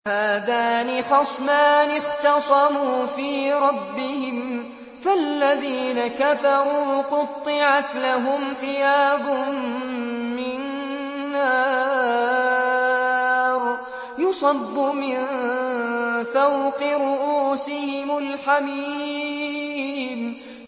۞ هَٰذَانِ خَصْمَانِ اخْتَصَمُوا فِي رَبِّهِمْ ۖ فَالَّذِينَ كَفَرُوا قُطِّعَتْ لَهُمْ ثِيَابٌ مِّن نَّارٍ يُصَبُّ مِن فَوْقِ رُءُوسِهِمُ الْحَمِيمُ